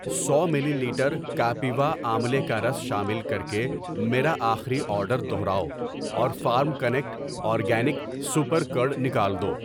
سو millilitre Kapiva املے کا رس شامل کرکے میرا آخری آرڈر دوہراؤ اور farm connect organic super curd نکال دو۔